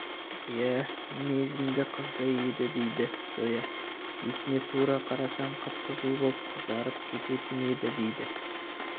иә мінезіңді қыздай еді дейді зоя бетіне тура қарасаң қып-қызыл боп қызарып кететін еді дейді